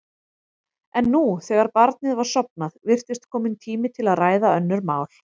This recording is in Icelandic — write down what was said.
En nú, þegar barnið var sofnað, virtist kominn tími til að ræða önnur mál.